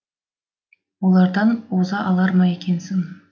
олардан оза алар ма екенсің